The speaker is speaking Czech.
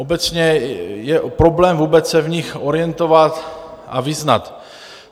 Obecně je problém vůbec se v nich orientovat a vyznat.